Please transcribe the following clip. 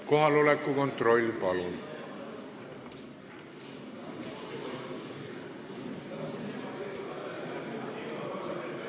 Kohaloleku kontroll, palun!